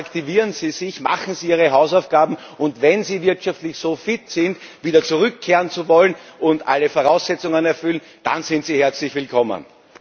Attraktivieren Sie sich, machen Sie Ihre Hausaufgaben, und wenn Sie wirtschaftlich so fit sind, wieder zurückkehren zu wollen, und alle Voraussetzungen erfüllen, dann sind Sie herzlich willkommen